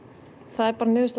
það er bara niðurstaða